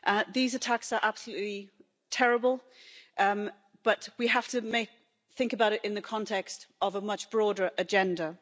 These attacks are absolutely terrible, but we have to think about it in the context of a much broader agenda.